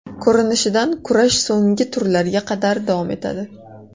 Ko‘rinishidan kurash so‘nggi turlarga qadar davom etadi.